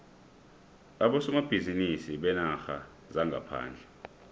abosomabhizinisi beenarha zangaphandle